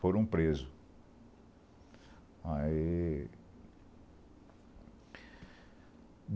Foram presos. Aí